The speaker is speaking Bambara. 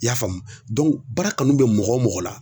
I y'a faamu baara kanu be mɔgɔ o mɔgɔ la